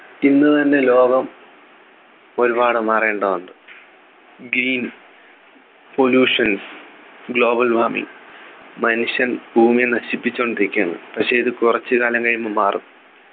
ഇന്ന് തന്നെ ലോകം ഒരുപാട് മാറേണ്ടതുണ്ട് Pollutions global warming മനുഷ്യൻ ഭൂമിയെ നശിപ്പിച്ചുകൊണ്ടിരിക്കുകയാണ് പക്ഷേ ഇത് കുറച്ച് കാലം കഴിയുമ്പം മാറും